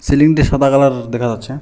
সিলিংটা সাদা কালারের দেখা যাচ্ছে।